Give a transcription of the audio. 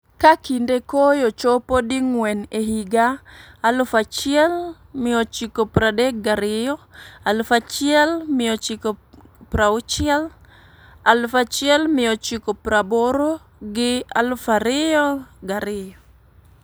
ka kinde koyo chopo di ngwen e higa 1932,1960,1980 gi 2002.